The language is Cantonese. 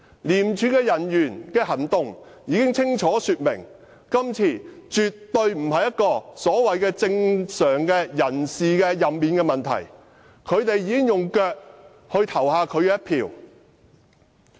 廉署人員的行動清楚說明，今次的人事任免絕對不是所謂的正常安排，他們已用腳投下他們的一票。